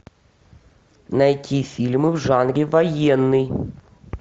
найти фильмы в жанре военный